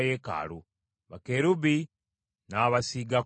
Bakerubi n’abasiigako zaabu.